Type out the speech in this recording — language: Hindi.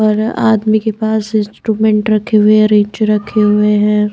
और आदमी के पास इंस्ट्रूमेंट रखे हुए हैं रेंच रखे हुए हैं।